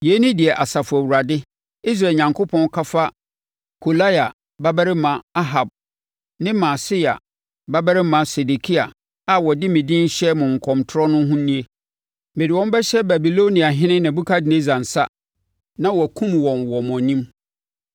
Yei ne deɛ Asafo Awurade, Israel Onyankopɔn ka fa Kolaia babarima Ahab ne Maaseia babarima Sedekia a wɔde me din rehyɛ mo nkɔmtorɔ no ho nie: “Mede wɔn bɛhyɛ Babiloniahene Nebukadnessar nsa, na wakum wɔn wɔ mo anim.